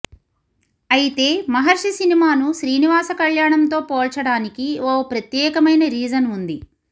అయితే మహర్షి సినిమాను శ్రీనివాస కల్యాణంతో పోల్చడానికి ఓ ప్రత్యేకమైన రీజన్ ఉంది